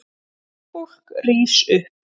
Fólk rís upp.